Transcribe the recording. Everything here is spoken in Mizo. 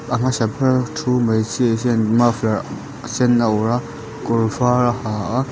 a hmasa ber a thu hmeichhia hian in muffler a sen a awrh a kawr var a ha a--